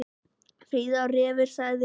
Fríða er refur, sagði Freyr.